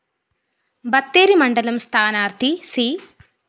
ബത്തേരി മണ്ഡലം സ്ഥാനാര്‍ത്ഥി സി